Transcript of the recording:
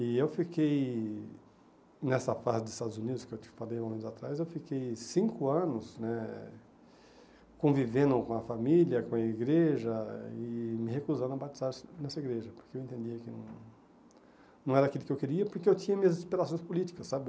E eu fiquei, nessa fase dos Estados Unidos, que eu te falei um momento atrás, eu fiquei cinco anos né convivendo com a família, com a igreja, e me recusando a batizar nessa igreja, porque eu entendia que não era aquilo que eu queria, porque eu tinha minhas inspirações políticas, sabe?